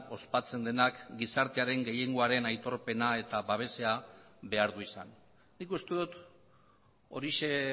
ospatzen denak gizartearen gehiengoaren aitorpena eta babesa behar du izan nik uste dut horixe